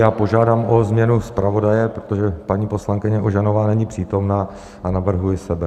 Já požádám o změnu zpravodaje, protože paní poslankyně Ožanová není přítomna, a navrhuji sebe.